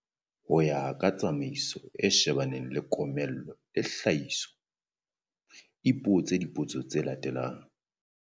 Ho ya ka tsamaiso e shebaneng le komello le tlhahiso, ipotse dipotso tse latelang.